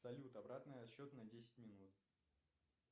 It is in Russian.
салют обратный отсчет на десять минут